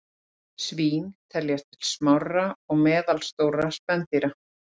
Svín teljast til smárra og meðalstórra spendýra.